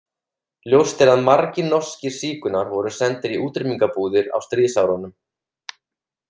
Ljóst er að margir norskir sígaunar voru sendir í útrýmingabúðir á stríðsárunum.